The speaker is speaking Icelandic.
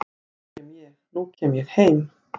nú kem ég, nú kem ég heim